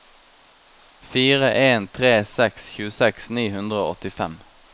fire en tre seks tjueseks ni hundre og åttifem